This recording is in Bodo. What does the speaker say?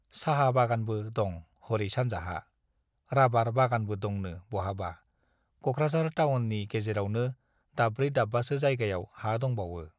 साहा बागानबो दं हरै सानजाहा, राबार बागानबो दंनो बहाबा, क'कराझार टाउननि गेजेरावनो दाबब्रै दाब्बासो जायगायाव हा दंबावो।